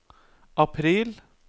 april